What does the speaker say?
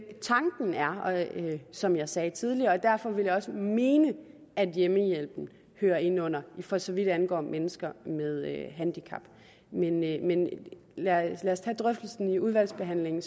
tanken er som jeg sagde det tidligere og derfor vil jeg også mene at hjemmehjælpen hører ind under det for så vidt angår mennesker med handicap men lad os tage drøftelsen i udvalgsbehandlingen